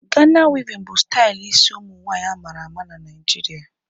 Gana wevin bụ stali ịsi ụmụnwanyị a mara ama n'Naijiria